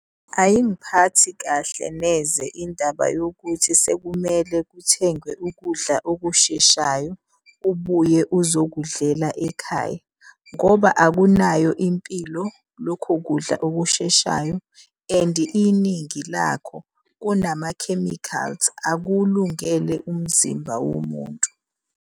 Ayingiphathi kahle neze indaba yokuthi sekumele kuthengwe ukudla okusheshayo ubuye uzokudlela ekhaya. Ngoba akunayo impilo lokho kudla okusheshayo and iningi lakho kunama-chemicals. Akuwulungele umzimba womuntu.